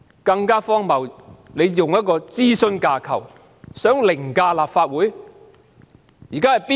更荒謬的是，政府企圖用一種諮詢架構凌駕立法會。